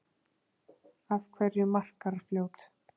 Af hverju Markarfljót?